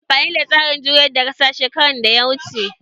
Yayi amfani da tsarin juyar da ƙasa shekaran da ya wuce